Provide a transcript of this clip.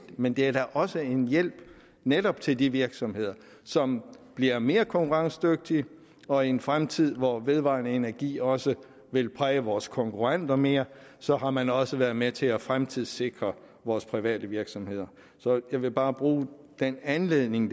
men det er da også en hjælp netop til de virksomheder som bliver mere konkurrencedygtige og i en fremtid hvor vedvarende energi også vil præge vores konkurrenter mere så har man også været med til at fremtidssikre vores private virksomheder så jeg vil bare bruge den anledning